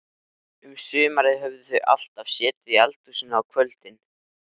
Um sumarið höfðu þau alltaf setið í eldhúsinu á kvöldin.